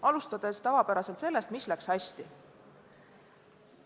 Alustan tavapäraselt sellest, mis läks hästi.